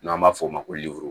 N'an b'a fɔ o ma ko